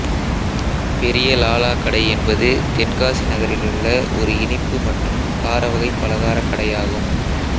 பெரிய லாலா கடை என்பது தென்காசி நகரிலுள்ள ஒரு இனிப்பு மற்றும் கார வகை பலகார கடையாகும்